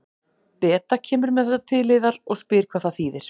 Beta kemur með þetta til yðar og spyr hvað það þýðir.